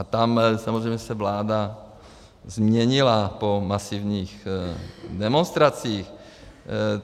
A tam samozřejmě se vláda změnila po masivních demonstracích.